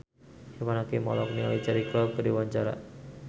Irfan Hakim olohok ningali Cheryl Crow keur diwawancara